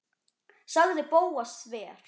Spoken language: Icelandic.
sagði Bóas þver